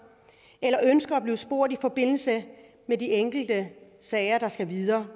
eller ønsker at blive spurgt i forbindelse med de enkelte sager der skal videre